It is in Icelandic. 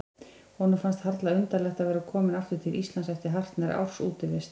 Honum fannst harla undarlegt að vera kominn aftur til Íslands eftir hartnær árs útivist.